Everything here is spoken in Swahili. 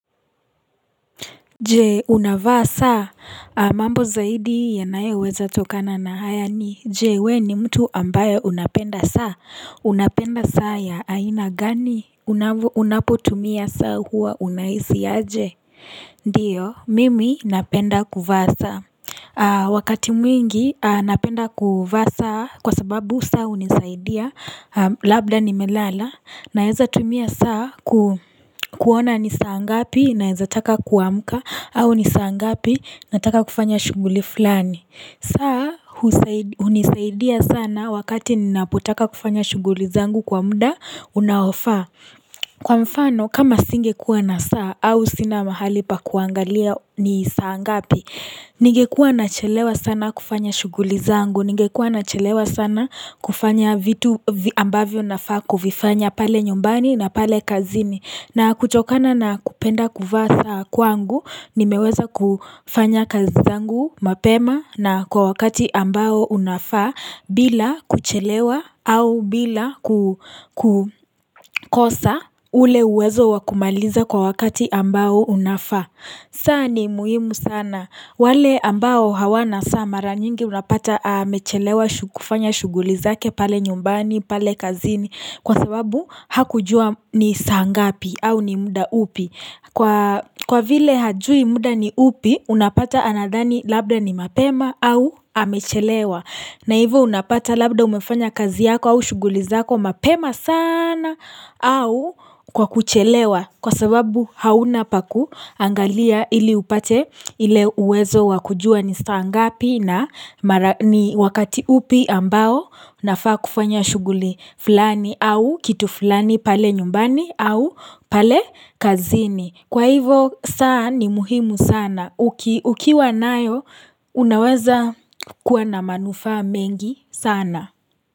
Jee unavaa saa mambo zaidi yanayeweza tokana na haya ni jee we ni mtu ambayo unapenda saa unapenda saa ya aina gani unapo tumia saa huwa unahisi aje Ndiyo mimi napenda kufasa wakati mwingi napenda kufasa kwa sababu saa unisaidia labda nimelala na heza tumia saa kuona nisaa ngapi na heza taka kuamka au ni saa ngapi, nataka kufanya shuguli fulani. Saa, unisaidia sana wakati ni napotaka kufanya shughuli zangu kwa muda, unaofa. Kwa mfano, kama singekuwa na saa au sina mahali pa kuangalia ni saa ngapi, nige kuwa na chelewa sana kufanya shuguli zangu, nige kuwa na chelewa sana kufanya vitu ambavyo na faku, vifanya pale nyumbani na pale kazini. Na kuchokana na kupenda kufaa saa kwangu ni meweza kufanya kazizangu mapema na kwa wakati ambao unafa bila kuchelewa au bila kukosa ule uwezo wakumaliza kwa wakati ambao unafa. Saa ni muhimu sana. Wale ambao hawana saa mara nyingi unapata amechelewa kufanya shughulizake pale nyumbani, pale kazini. Kwa sababu hakujua ni sangapi au ni muda upi. Kwa vile hajui muda ni upi unapata anadhani labda ni mapema au amechelewa. Na hivyo unapata labda umefanya kazi yako au shuguli zako mapema sana au kwa kuchelewa kwa sababu hauna paku angalia ili upate ile uwezo wakujua ni stangapi na wakati upi ambao nafaa kufanya shuguli fulani au kitu fulani pale nyumbani au pale kazini. Kwa hivo sana ni muhimu sana. Ukiwa nayo, unaweza kuwa na manufa mengi sana.